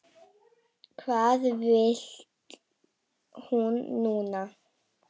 Hvað vill hún núna?